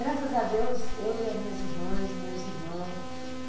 Graças a Deus, eu e as minhas irmãs, meus irmãos,